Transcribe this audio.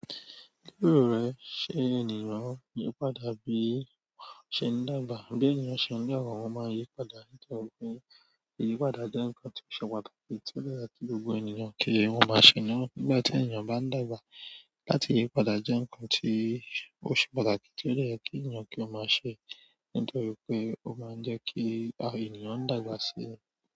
Kílò rẹ̀ ṣe ènìyàn yípadà bí í ṣe ń dàgbà, bí ènìyàn ṣe ń lọ̀rùn ó máa ń yípadà. Nítorí pé ìyípadà jẹ́ ǹkan tó ṣe pàtàkì tí ó dára tí gbogbo ènìyàn kí wọ́n máa ṣe lọ́wọ́. Nígbà tí ènìyàn bá ń dàgbà láti yípadà jẹ́ ǹkan tí ó ṣe pàtàkì tí ó dára kí ènìyàn kí ó máa ṣe nítorí pé ó máa ń jẹ́ kí àwọn ènìyàn dàgbà síi.